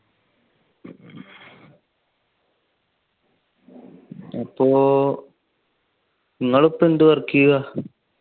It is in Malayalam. അപ്പൊ നിങ്ങൾ ഇപ്പൊ എന്ത് work ആ ചെയ്യുവാ.